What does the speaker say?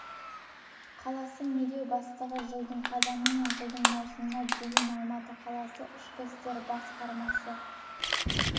қаласы медеу бастығы жылдың қазаны мен жылдың маусымына дейін алматы қаласы ішкі істер бас басқармасы